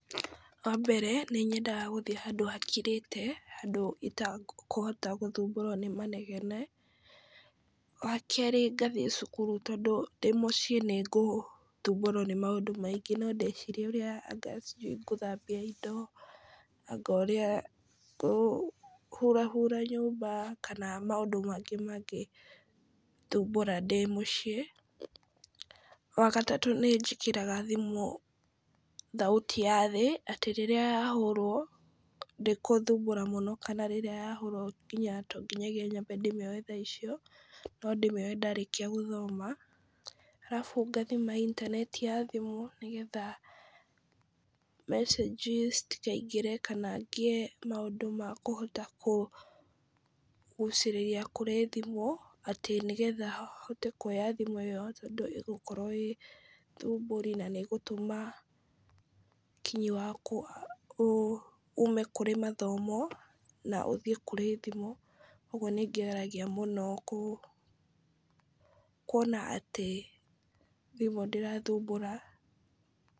Wa mbere nĩ nyendaga gũthiĩ handũ hakirĩte, handũ itakũhota gũthumbũrwo nĩ manegene, wa kerĩ ngathiĩ cukuru , tondũ ndĩ mũciĩ nĩngũthumbũrwo nĩ maũndũ maingĩ , no ndĩcirie anga ũrĩa sijui ngũthambia indo , anga ũrĩa ngũhurahura nyũmba, kana maũndũ mangĩ mangĩthumbũra ndĩ mũciĩ, wa gatatũ nĩ njĩkĩraga thimũ thauti ya thĩ , atĩ rĩrĩa yahũrwo ndĩgũthumbũra mũno , kana rĩrĩa yahũrwo to nginyagia ndĩmĩoe thaa icio, no ndĩmĩoe ndarĩkia gũthoma, arabu ngathima intaneti ya thimũ, nĩgetha mecĩnji citikaingĩre kana ngĩe maũndũ makũhota kũ gũciria kũrĩ thimũ, atĩ nĩgetha hote kuoya thimũ ĩyo tondũ ĩgũkorwo ĩ thumbũri, na nĩ ĩgũtũma nginya ũkinyi waku ume kũrĩ mathomo na ũthiĩ kũrĩ thimũ, ũgwo nĩ ngeragia mũno kuona atĩ thimũ ndĩrathumbũra.